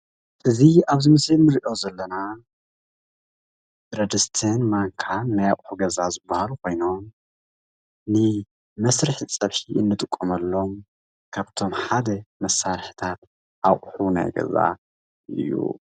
እዚ ኣብዚ ምስሊ እንርእዮ ዘለና ብረድስትን ማንካን ናይ ኣቑሑ ገዛ ዝበሃሉ ኾይኖም ንመስርሒ ፀብሒ እንጥቀመሎም ካብቶም ሓደ መሳርሕታት ኣቑሑ ናይ ገዛ እዩ።